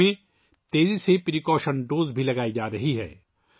ملک میں تیزی سے احتیاطی خوراک بھی لگائی جا رہی ہیں